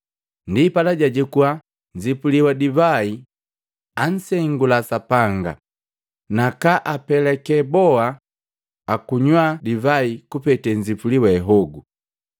Ndipala, jajukua nzipuli wa divai, ansengula Sapanga, nakaapeke boa banywaa divai kupete nzipuli we hogu.